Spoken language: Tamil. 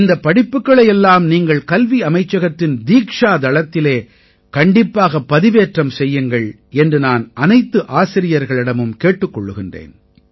இந்தப் படிப்புகளை எல்லாம் நீங்கள் கல்வி அமைச்சகத்தின் தீக்ஷா தளத்திலே கண்டிப்பாக பதிவேற்றம் செய்யுங்கள் என்று நான் அனைத்து ஆசிரியர்களிடமும் கேட்டுக் கொள்கிறேன்